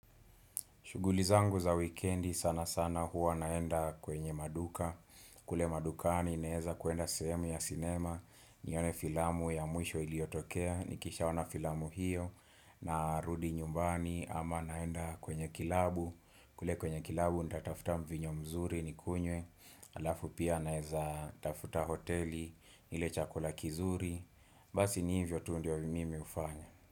Shuguli zangu za weekendi sana sana huwa naenda kwenye maduka. Kule madukani naweza kuenda sehemu ya sinema, nione filamu ya mwisho iliyotokea, nikisha ona filamu hiyo, na rudi nyumbani ama naenda kwenye kilabu. Kule kwenye kilabu nitatafuta mvinyo mzuri nikunywe, halafu pia naweza tafuta hoteli, nile chakula kizuri, basi ni hivyo tu ndio mimi hufanya.